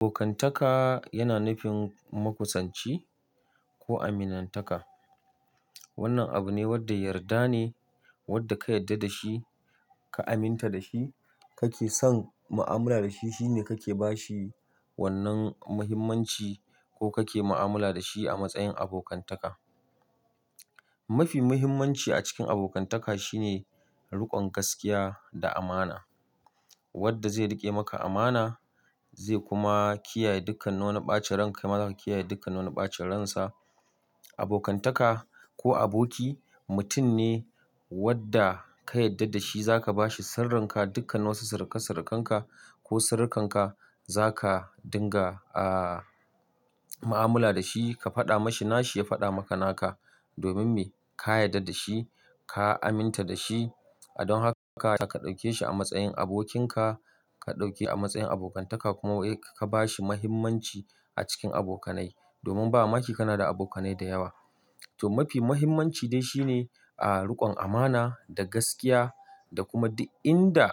Abokantaka yana nufin makusanci ko aminnan taka. Wannan abu ne wanda yarda ne, wanda ka yarda da shi, ka aminta da shi, ka ke son mu'amala da shi. Shi ne ka ke ba shi wannan muhimmanci ko ka ke mu'amala da shi a matsayin abokantaka. Mafi muhimmanci a cikin abokantaka shi ne riƙon gaskiya da amana. Wanda zai riƙe maka amana zai kuma kiyaye dukkan wani ɓacen ranka, kai ma za ka kiyaye dukkan wannan ɓacen ransa. Abokantaka ko aboki mutum ne wanda ka yarda da shi, za ka ba shi sirrinka, dukkan wasu sirrika-sirrikanka ko sirrinka za ka dinga a mu'amala da shi, ka faɗa mashi nashi, ya faɗa maka naka. Domin me? Ka yarda da shi, ka aminta da shi. Don haka, zaka ɗauke shi a matsayin abokinka, ka ɗauke a matsayin abokantaka, kuma ka-ka ba shi muhimmanci a cikin abokanai. Domin ba mamaki kana da abokanai da yawa. To, mafi muhimmanci dai shi ne, ah riƙon amana, da gaskiya, da kuma duk inda,